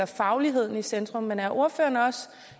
fagligheden i centrum men er ordføreren også